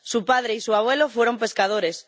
Su padre y su abuelo fueron pescadores.